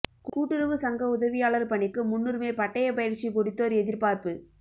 கூட்டுறவு சங்க உதவியாளர் பணிக்கு முன்னுரிமை பட்டய பயிற்சி முடித்தோர் எதிர்பார்ப்பு